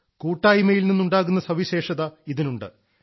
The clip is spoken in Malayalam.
കൂട്ടായ്മയിൽ നിന്നുണ്ടാകുന്ന സവിശേഷത ഇതിനുണ്ട്